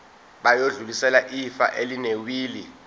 bayodlulisela ifa elinewili